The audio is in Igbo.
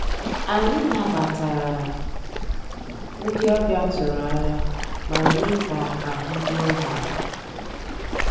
Ànyị́ nabàtàrà ndị́ ọ̀bịá tụ̀rụ̀ ànyá má meé ká àhụ́ rúó há àlà.